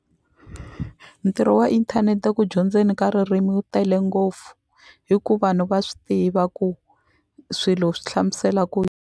Ntirho wa inthanete eku dyondzeni ka ririmi wu tele ngopfu hi ku vanhu va swi tiva ku swilo swi hlamusela ku .